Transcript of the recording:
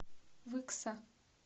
выкса